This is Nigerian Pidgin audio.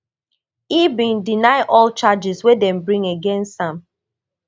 e bin deny all charges wey dem bring against am